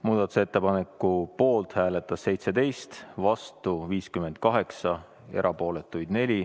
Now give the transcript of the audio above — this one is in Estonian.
Muudatusettepaneku poolt hääletas 17, vastu 58, erapooletuid oli 4.